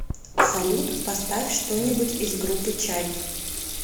салют поставь что нибудь из группы чайф